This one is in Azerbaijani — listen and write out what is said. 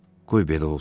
Qoy belə olsun.